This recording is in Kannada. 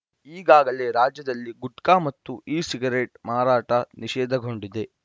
ಈಗಾಗಲೇ ರಾಜ್ಯದಲ್ಲಿ ಗುಟ್ಕಾ ಮತ್ತು ಇಸಿಗರೇಟ್‌ ಮಾರಾಟ ನಿಷೇಧಗೊಂಡಿದೆ